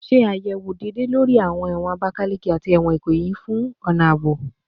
Ṣe ayẹwo deede lori ẹwọn Abakaleke ati ẹwọn Ikoyi fun awọn ọna aabo